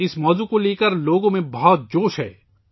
اس موضوع کو لے کر لوگوں میں بہت جوش ہے